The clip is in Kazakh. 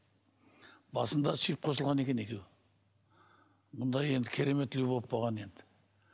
басында сүйіп қосылған екен екеуі мұнда енді керемет любовь болған енді